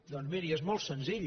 doncs miri és molt senzill